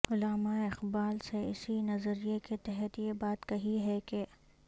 علامہ اقبال نے اسی نظریے کے تحت یہ بات کہی ہے کہ